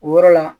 O yɔrɔ la